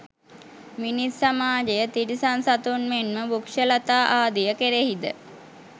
මිනිස් සමාජය, තිරිසන් සතුන් මෙන්ම වෘක්‍ෂලතා ආදිය කෙරෙහිද